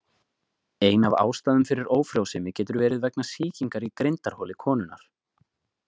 Ein af ástæðum fyrir ófrjósemi getur verið vegna sýkingar í grindarholi konunnar.